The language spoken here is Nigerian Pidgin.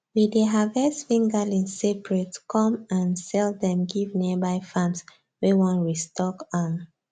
we dey harvest fingerlings separate come um sell them give nearby farms wey wan restock um